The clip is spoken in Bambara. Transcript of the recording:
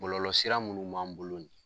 Bɔlɔlɔ sira munnu m'an bolo nin ye